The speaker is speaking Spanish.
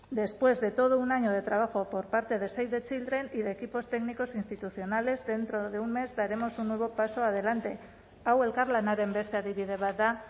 después de todo un año de trabajo por parte de save the children y de equipos técnicos e institucionales dentro de un mes daremos un nuevo paso adelante hau elkarlanaren beste adibide bat da